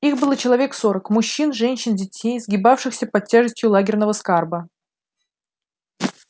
их было человек сорок мужчин женщин детей сгибавшихся под тяжестью лагерного скарба